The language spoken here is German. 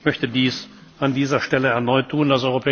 Ich möchte das an dieser Stelle erneut